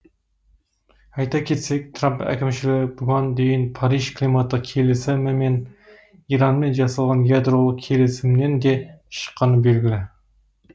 айта кетсек трамп әкімшілігі бұған дейін париж климаттық келісімі мен иранмен жасалған ядролық келісімнен де шыққаны белгілі